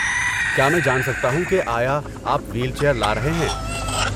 کیا میں جان سکتا ہوں کہ آیا آپ وہیل چیئر لا رہے ہیں؟